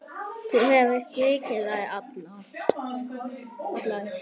Þú hefur svikið þær allar.